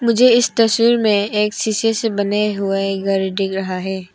मुझे इस तस्वीर में एक शीशे से बने हुए घर दिख रहा है।